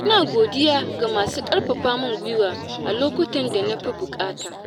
Ina godiya ga masu ƙarfafa min guiwa a lokutan da na fi buƙata.